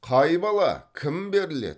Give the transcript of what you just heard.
қай бала кім беріледі